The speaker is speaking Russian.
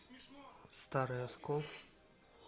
старый оскол